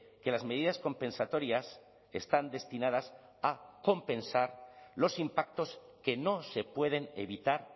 que las medidas compensatorias están destinadas a compensar los impactos que no se pueden evitar